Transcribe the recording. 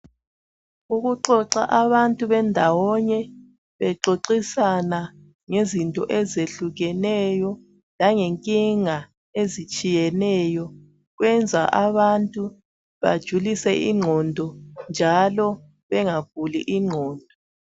Ukuxoxa abantu bendawonye bexoxisana ngezinto ezehlukeneyo langenkinga ezitshiyeneyo kwenza abantu bajulise ingqondo njalo benga guli ingqondo.